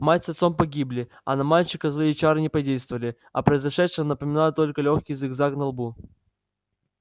мать с отцом погибли а на мальчика злые чары не подействовали о произошедшем напоминал только лёгкий зигзаг на лбу